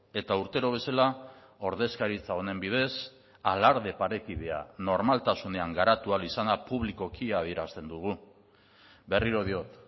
eta urtero bezala ordezkaritza honen bidez alarde parekidea normaltasunean garatu ahal izana publikoki adierazten dugu berriro diot